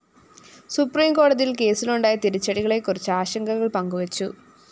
സുപ്രീംകോടതിയില്‍ കേസിലുണ്ടായ തിരിച്ചടികളെക്കുറിച്ച് ആശങ്കകള്‍ പങ്കു വച്ചു